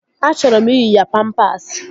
Achọrọ m iyi ya pampasi